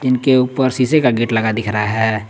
के ऊपर शीशे का गेट लगा दिख रहा है।